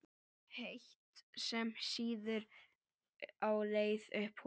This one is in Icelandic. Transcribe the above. heitt, sem sýður á leið upp holuna.